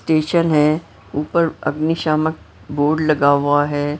Station है ऊपर अग्निशामक बोर्ड लगा हुआ है।